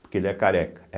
Porque ele é careca.